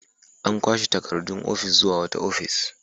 An kwashe takardu ofis zuwa wata ofis